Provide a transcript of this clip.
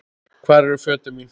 Hvar eru fötin mín.?